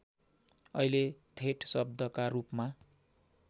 अहिले थेट शब्दका रूपमा